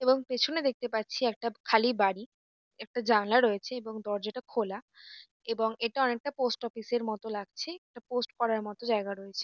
এবং পেছনে দেখতে পাচ্ছি একটা খালি বাড়ি । একটা জানলা রয়েছে এবং দরজাটা খোলা এবং এটা অনেকটা পোস্ট অফিস -এর মতো লাগছে একটা পোস্ট করার মতো জায়গা রয়েছে।